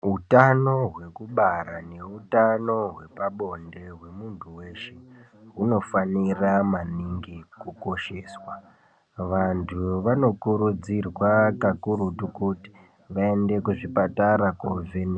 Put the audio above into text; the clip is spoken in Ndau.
Utano hwekubara neutano hwepabonde hwemunhu weshe hunofanira maningi kukosheswa. Vantu vanokurudzirwa kakurutu kuti vaende kuzvipatara kovhenekwa.